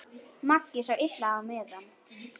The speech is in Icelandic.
Maggi sá illa á miðann.